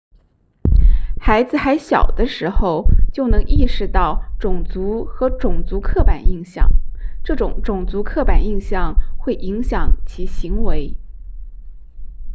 孩子还小的时候就能意识到种族和种族刻板印象这些种族刻板印象会影响其行为